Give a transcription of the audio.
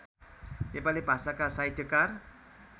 नेपाली भाषाका साहित्यकार